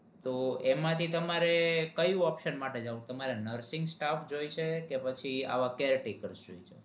તો એમાં થી તમારે કઈ option માટે જાઉં છે તમારે nursing staff જોઇશે કે પછી આવા કેરેટેક્ર્સ જોઇ છે?